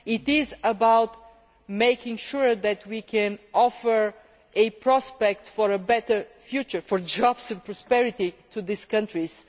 It is about making sure that we can offer a prospect of a better future for jobs and prosperity to these countries.